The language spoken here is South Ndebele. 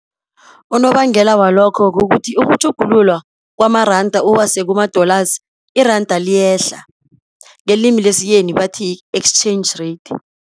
Unobangela walokho kukuthi ukutjhugululwa kwamaranda, uwasekumadolasi, iranda liyehla, ngelimi lesiyeni bathi-exchange rate.